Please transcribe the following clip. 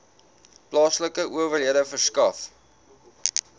plaaslike owerhede verskaf